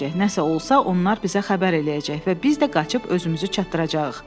Nəsə olsa, onlar bizə xəbər eləyəcək və biz də qaçıb özümüzü çatdıracağıq.